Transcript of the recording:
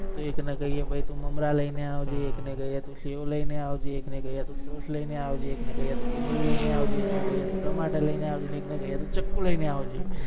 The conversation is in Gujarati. એક ને કહિએ કે ભાઈ તુ મમરા લઈને આવજે એક ને કહિએ તુ સેવ લઈને આવજે એક ને કહિએ તુ સોસ લઈને આવજે એક ને કહિએ તુ ડુંગરી લઈને આવજે એક ને કહિએ કે તુ ટમાટર લઈને આવજે એક ને કહિએ કે તુ ચક્કુ લઈને આવજે